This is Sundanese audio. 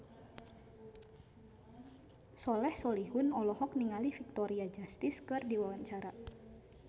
Soleh Solihun olohok ningali Victoria Justice keur diwawancara